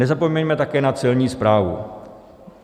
Nezapomeňme také na Celní správu.